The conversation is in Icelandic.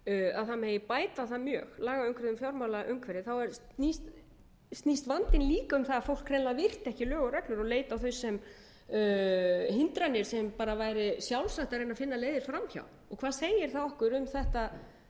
að það megi bæta það mjög lagaumhverfi um fjármálaumhverfi snýst vandinn líka um það að fólk hreinlega virti ekki lög og reglur og leit ekki á þau sem hindranir sem bara væri sjálfsagt að reyna að finna leiðir fram hjá hvað segir það okkur um þetta